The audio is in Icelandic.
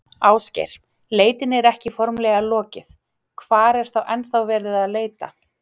Ásgeir, leitinni er ekki formlega lokið, hvar er ennþá verið að leita?